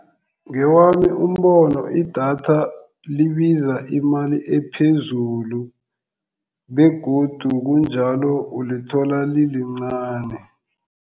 Ngewami umbono idatha libiza imali ephezulu begodu kunjalo ulithola lilincani.